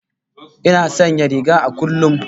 Ina sanya riga a kullum